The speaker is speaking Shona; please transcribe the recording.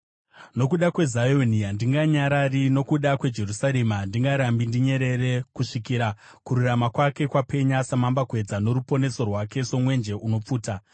Nokuda kweZioni handinganyarari, nokuda kweJerusarema handingarambi ndinyerere, kusvikira kururama kwake kwapenya samambakwedza, noruponeso rwake somwenje unopfuta.